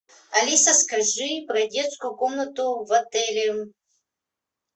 алиса скажи про детскую комнату в отеле